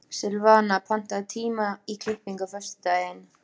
Silvana, pantaðu tíma í klippingu á föstudaginn.